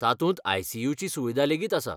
तातूंत आय.सी.यू. ची सुविदा लेगीत आसा.